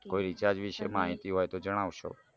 કોઈ વિશે માહિતી હોય તો જણાવશો